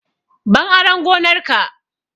Ban aran gonar ka!